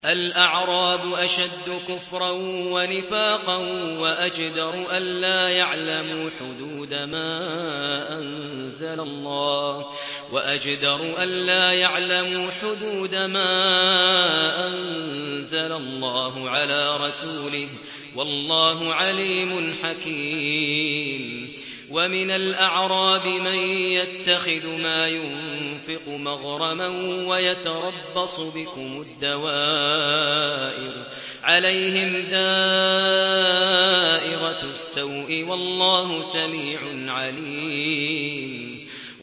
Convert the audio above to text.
الْأَعْرَابُ أَشَدُّ كُفْرًا وَنِفَاقًا وَأَجْدَرُ أَلَّا يَعْلَمُوا حُدُودَ مَا أَنزَلَ اللَّهُ عَلَىٰ رَسُولِهِ ۗ وَاللَّهُ عَلِيمٌ حَكِيمٌ